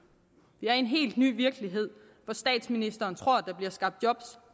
vi er i en helt ny virkelighed hvor statsministeren tror at der bliver skabt job